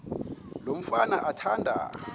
lo mfana athanda